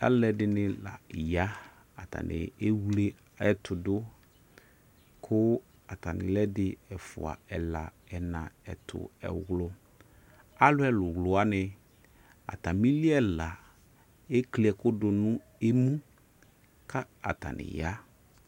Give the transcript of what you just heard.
Alɛde ne la ya atane ewle ɛto do ko atane lɛ ɛdi, ɛfua ɛla, ɛna, ɛtu ,ɛwluAlu ɛwlu wane atame li ɛla ikli ɛku do no emu ka ataneya